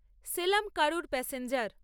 সেলাম কারুর প্যাসেঞ্জার